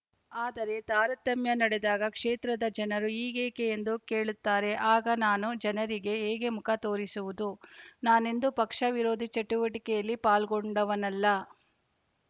ಆದರೆ ತಾರತಮ್ಯ ನಡೆದಾಗ ಕ್ಷೇತ್ರದ ಜನರು ಹೀಗೇಕೆ ಎಂದು ಕೇಳುತ್ತಾರೆ ಆಗ ನಾನು ಜನರಿಗೆ ಹೇಗೆ ಮುಖ ತೋರಿಸುವುದು ನಾನೆಂದೂ ಪಕ್ಷ ವಿರೋಧಿ ಚಟುವಟಿಕೆಯಲ್ಲಿ ಪಾಲ್ಗೊಂಡವನಲ್ಲ